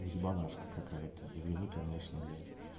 ебанашка какая-то извини конечно блять